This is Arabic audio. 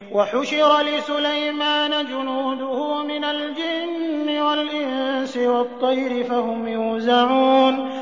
وَحُشِرَ لِسُلَيْمَانَ جُنُودُهُ مِنَ الْجِنِّ وَالْإِنسِ وَالطَّيْرِ فَهُمْ يُوزَعُونَ